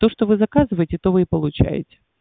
то что вы заказываете то вы и получаете